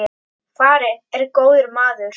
Farinn er góður maður.